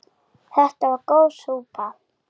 Þetta var góð súpa.